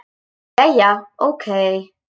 Jæja, ókei.